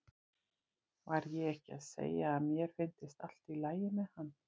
Var ég ekki að segja að mér fyndist allt í lagi með hann?